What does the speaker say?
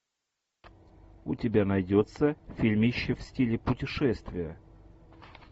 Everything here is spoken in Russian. у тебя найдется фильмище в стиле путешествие